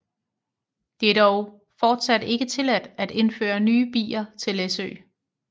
Det er dog fortsat ikke tilladt at indføre nye bier til Læsø